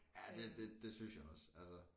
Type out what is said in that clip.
Ja det det det synes jeg også altså